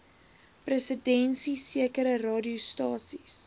presidensie sekere radiostasies